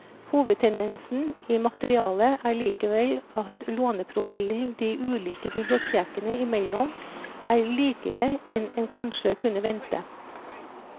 Hovedtendensen i materialet er likevel at låneprofilen de ulike bibliotekene imellom er likere enn en kanskje kunne vente.